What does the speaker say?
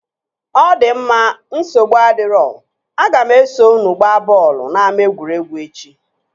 Ọ di mma, nsogbu adirọ, aga m eso unu gbaa bọọlụ n'ama egwuregwu echi